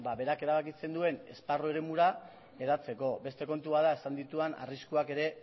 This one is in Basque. ba berak erabakitzen duen esparru eremura hedatzeko beste kontu bat da izan ditudan arriskuak ere